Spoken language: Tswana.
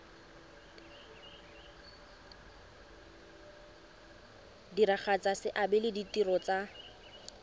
diragatsa seabe le ditiro tsa